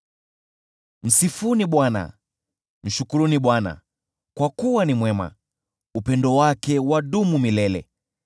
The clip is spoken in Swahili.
Msifuni Bwana . Mshukuruni Bwana , kwa kuwa ni mwema; upendo wake wadumu milele.